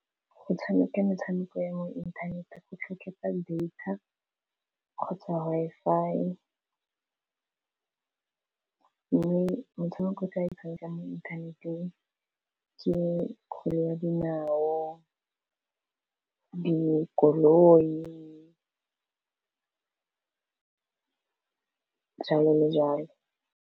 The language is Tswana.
Go tshameka metshameko ya mo inthanete go tlhotlheletsa data kgotsa Wi-Fi mme motshameko o tla e tshameka mo inthaneteng ke kgwele ya dinao dikoloi jalo le jalo.